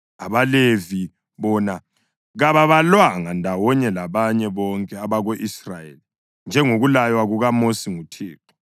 AbaLevi bona kababalwanga ndawonye labanye bonke abako-Israyeli njengokulaywa kukaMosi nguThixo.